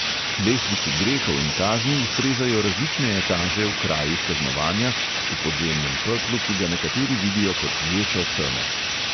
Lestvici grehov in kazni ustrezajo različne etaže v krajih kaznovanja, v podzemnem peklu, ki ga nekateri vidijo kot ječo teme.